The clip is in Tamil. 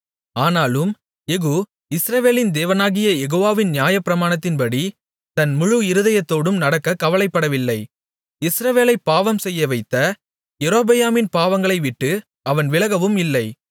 ஆனாலும் யெகூ இஸ்ரவேலின் தேவனாகிய யெகோவாவின் நியாயப்பிரமாணத்தின்படி தன் முழு இருதயத்தோடும் நடக்கக் கவலைப்படவில்லை இஸ்ரவேலைப் பாவம்செய்யவைத்த யெரொபெயாமின் பாவங்களை விட்டு அவன் விலகவும் இல்லை